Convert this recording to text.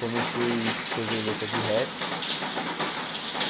Comecei escrever letra de rap.